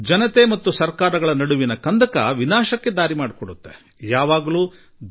ಜನತೆ ಹಾಗೂ ಸರ್ಕಾರಗಳ ನಡುವೆ ಕಂದಕ ಉಂಟಾಗುವುದರಿಂದಲೇ ನಮ್ಮ ನಾಶಕ್ಕೆ ಮೂಲವಾಗಿದೆ